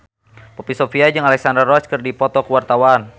Poppy Sovia jeung Alexandra Roach keur dipoto ku wartawan